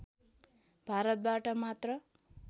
भारतबाट मात्र